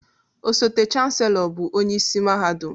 Osote Chansellọ bụ onye isi mahadum